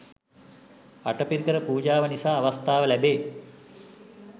අටපිරිකර පූජාව නිසා අවස්ථාව ලැබේ